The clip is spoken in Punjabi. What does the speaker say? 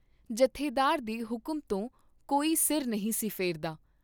ਜਥੇਦਾਰ ਦੇ ਹੁਕਮ ਤੋਂ ਕੋਈ ਸਿਰ ਨਹੀਂ ਸੀ ਫੇਰਦਾ।